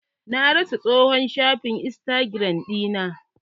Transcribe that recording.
Na rasa tsohon shafi istagiram ɗina.